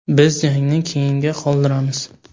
Biz jangni keyinga qoldiramiz.